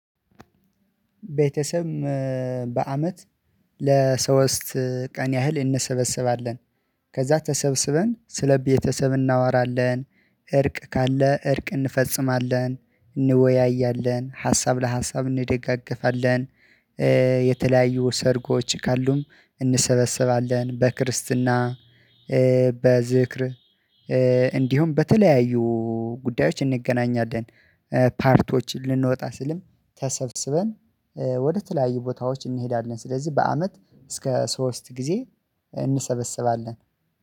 ቤተሰብ በአመት ለሶስት ቀን ያህል እንሰበስባለን ከዛ ተሰብስበን ስለቤተሰብ እናወራለን እርቅ ካለ እርቅ እንፈጽማለን እንወያያለን ሀሳብ ለሀሳብ እንደጋገፋለን። የተለያዩ ሰርጎች ካሉም እንሰበስባለን በክርስትና በዝክር እንዲሁም በተለያዩ ጉዳዮች እንገናኛለን። ፓርቲዎችን ልንወጣ ስልም ተሰብስበን ወደ ተለያዩ ቦታዎች እንሄዳለን። ስለዚህ በአመት እስከ ሶስት ጊዜ እንሰበስባለን